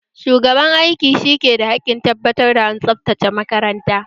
Shugaban aiki shi ki da hakkin tabbatar da an tsabtace makaranta